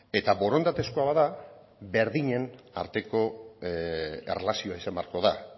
eta borondatezkoa bada berdinen arteko erlazioa izan beharko da